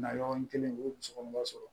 Na yɔrɔnin kelen u ye muso kɔnɔma sɔrɔ